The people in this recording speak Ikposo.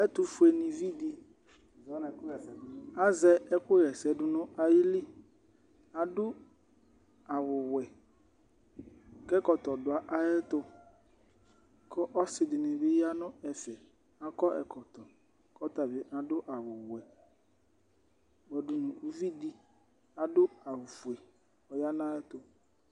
Ɛtʋfuenɩvi dɩ azɛ ɛkʋɣa ɛsɛ dʋ nʋ ayili Adʋ awʋwɛ kʋ ɛkɔtɔ dʋ ayɛtʋ kʋ ɔsɩ dɩnɩ bɩ ya nʋ ɛfɛ Akɔ ɛkɔtɔ kʋ ɔta bɩ adʋ awʋwɛ kpɔdʋ nʋ uvi dɩ adʋ awʋfue, ɔya nʋ ayɛtʋ